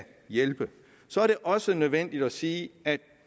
hjælpe så er det også nødvendigt at sige at